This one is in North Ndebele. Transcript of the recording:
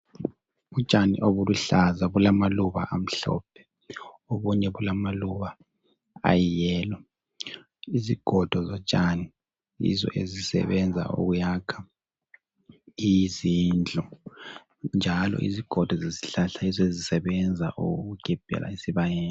Utshani obuluhlaza obulamaluba amhlophe obunye bulamaluba ayiyellow (alithanga) izigodo zotshani yizo ezisebenza ukuyakha izindlu njalo izigodo zezihlahla yizo ezisebenza ukugebhela esibayeni.